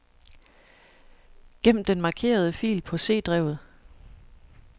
Gem den markerede fil på C-drevet.